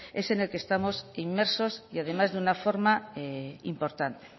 es el que estamos inmersos y además de una forma importante